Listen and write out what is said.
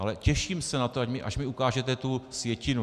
Ale těším se na to, až mi ukážete tu sjetinu.